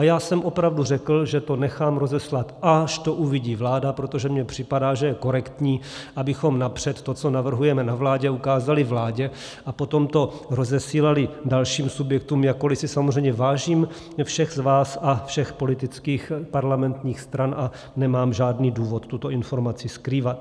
A já jsem opravdu řekl, že to nechám rozeslat, až to uvidí vláda, protože mně připadá, že je korektní, abychom napřed to, co navrhujeme na vládě, ukázali vládě, a potom to rozesílali dalším subjektům, jakkoli si samozřejmě vážím všech z vás a všech politických parlamentních stran a nemám žádný důvod tuto informaci skrývat.